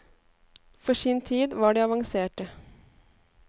For sin tid var de avanserte.